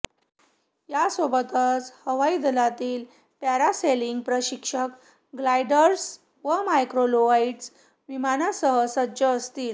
यासोबतच हवाईदलातील पॅरासेलिंग प्रशिक्षक ग्लायडर्स व मायक्रोलाइट विमानासह सज्ज असतील